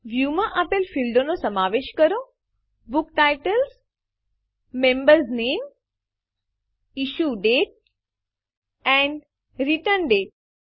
વ્યુંમાં આપેલ ફીલ્ડો ક્ષેત્રોનો સમાવેશ કરો160 book titles member names issue date and return date